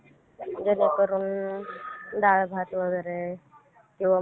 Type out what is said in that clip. करू शकता बरोबर.